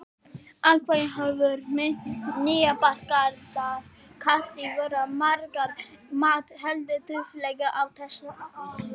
Atvinnuhorfur nýbakaðra kandidata voru, að margra mati, heldur dauflegar á þessum árum.